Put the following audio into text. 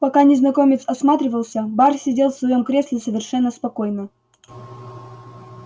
пока незнакомец осматривался бар сидел в своём кресле совершенно спокойно